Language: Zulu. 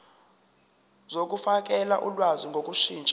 zokufakela ulwazi ngokushintsha